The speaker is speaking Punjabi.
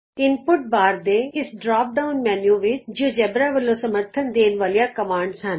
ਇਨਪੁਟ ਬਾਰ ਦੇ ਇਸ ਡਰਾਪ ਡਾਉਨ ਮੈਨਯੂ ਵਿਚ ਜਿਉਜੇਬਰਾ ਵਲੋਂ ਸਮੱਰਥਨ ਦੇਣ ਵਾਲੀਆਂ ਕਮਾਂਡਜ਼ ਹਨ